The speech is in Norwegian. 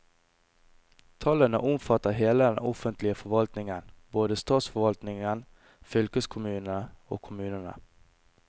Tallene omfatter hele den offentlige forvaltningen, både statsforvaltningen, fylkeskommunene og kommunene.